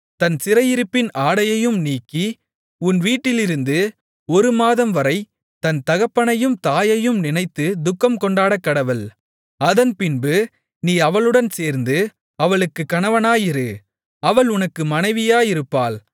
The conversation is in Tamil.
தன் சிறையிருப்பின் ஆடையையும் நீக்கி உன் வீட்டிலிருந்து ஒரு மாதம்வரை தன் தகப்பனையும் தாயையும் நினைத்துத் துக்கம்கொண்டாடக்கடவள் அதன்பின்பு நீ அவளுடன் சேர்ந்து அவளுக்குக் கணவனாயிரு அவள் உனக்கு மனைவியாயிருப்பாள்